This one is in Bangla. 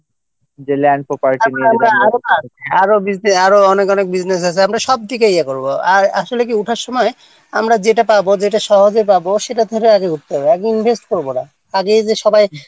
যে এই যে land property আরো business আরো অনেক অনেক business আছে আমরা সবদিকে ইয়ে করব আর আসলে কী ওঠার সময় আমরা যেটা পাব যেটা সহজে পাব সেটা ধরে আগে উঠতে হবে আগে invest করব না আগে এই যে সবাই